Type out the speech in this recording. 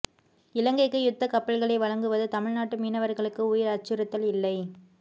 இலங்கைக்கு யுத்த கப்பல்களை வழங்குவது தமிழ் நாட்டு மீனவர்களுக்கு உயிர் அச்சுறுத்தல் இல்லை